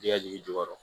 Jɛgɛ jigi jukɔrɔ